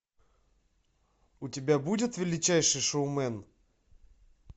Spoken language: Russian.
у тебя будет величайший шоумен